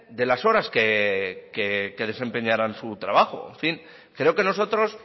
de las horas que desempeñaran su trabajo en fin creo que nosotros